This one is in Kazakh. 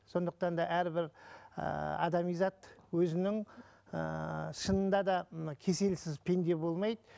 сондықтан да әрбір ыыы адами зат өзінің ыыы шынында да мына кеселсіз пенде болмайды